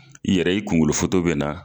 I yɛrɛ i kunkolo be na.